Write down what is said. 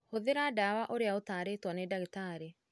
Hũthĩra ndawa ũrĩa ũtarĩtwo nĩ ndagĩtarĩ.